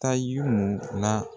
Taa la.